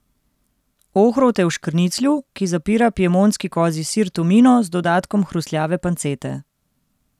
Ohrovt je v škrniclju, ki zapira piemontski kozji sir tomino z dodatkom hrustljave pancete.